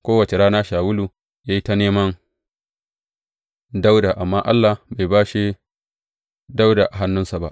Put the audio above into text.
Kowace rana Shawulu ya yi ta neman Dawuda amma Allah bai bashe Dawuda a hannunsa ba.